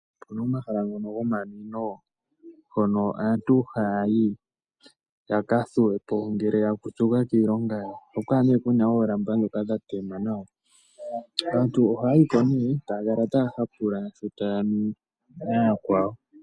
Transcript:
Okuna omahala gomanwino hoka aantu haya yi yakathuwepo una ya zimbuka kiilongo yawo. Oha ku kala kuna oolamba dhoka dha tema nawa. Aantu oha yiko nee taya kala taya hapula sho taya nu nayakwawo.